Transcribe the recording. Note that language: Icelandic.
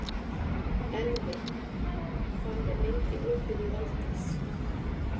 Elvi, hvað er lengi opið í Valdís?